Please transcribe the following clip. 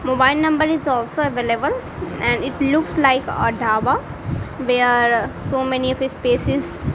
mobile number is also available and it looks like a dhaba where so many of spaces --